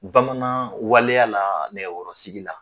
Bamanan waleya la nɛgɛkɔrɔsigi la.